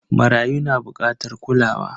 Marayu na bukatar kulawa.